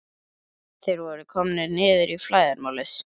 Þeir voru komnir niður í flæðarmálið.